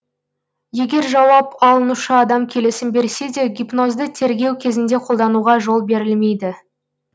егер жауап алынушы адам келісім берсе де гипнозды тергеу кезінде қолдануға жол берілмейді